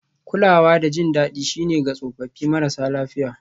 Kulawa da jin daɗi shine ga tsofaffi marasa lafiya